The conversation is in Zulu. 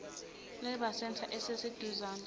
labour centre esiseduzane